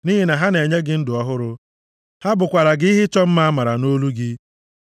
nʼihi na ha na-enye gị ndụ ọhụrụ, ha bụkwaara gị ihe ịchọ mma amara nʼolu gị.